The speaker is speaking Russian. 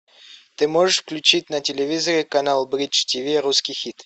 ты можешь включить на телевизоре канал бридж тиви русский хит